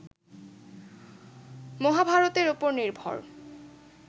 মহাভারতের উপর নির্ভর